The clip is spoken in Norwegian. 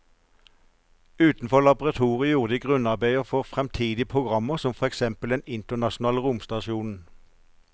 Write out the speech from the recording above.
Utenfor laboratoriet gjorde de grunnarbeidet for fremtidige programmer som for eksempel den internasjonale romstasjonen.